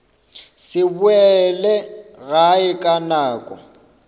se boele gae ka nako